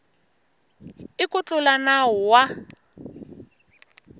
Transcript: i ku tlula nawu wa